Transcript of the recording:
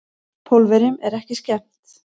Pólverjunum er ekki skemmt.